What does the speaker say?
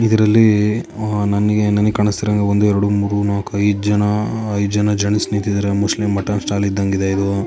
ಇದರಲ್ಲೀ ಆ ನನಿಗೆ ನಾನಿಗ್ ಕಾಣಿಸ್ತಿರೋನ್ಗೆ ಒಂದು ಎರಡು ಮೂರೂ ನಾಲ್ಕು ಐದ್ ಜನಾ ಐದ್ ಜನ ಜೆಂಟ್ಸ್ ನಿಂತಿದರೆ ಮೋಸ್ಟ್ಲಿ ಮಟನ್ ಸ್ಟಾಲ್ ಇದ್ದಂಗಿದೆ ಇದೂ.